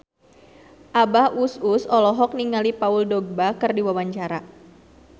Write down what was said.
Abah Us Us olohok ningali Paul Dogba keur diwawancara